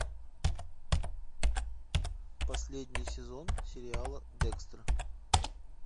последний сезон сериала декстер